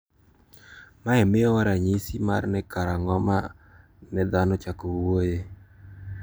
Mae miyowa ranyisi mar ni karang`o ma ne dhano ochako wuoyoe.